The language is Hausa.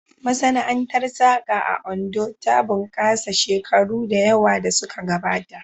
Masana'antar saƙa a Ondo ta bunƙasa shekaru da yawa da suka gabata